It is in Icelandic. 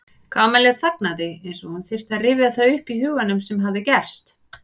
Kamilla þagnaði eins og hún þyrfti að rifja það upp í huganum sem hafði gerst.